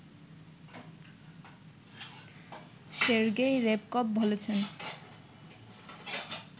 Sergei Ryabkov বলেছেন